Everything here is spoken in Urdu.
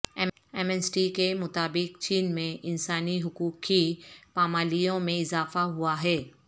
ایمنسٹی کے مطابق چین میں انسانی حقوق کی پامالیوں میں اضافہ ہوا ہے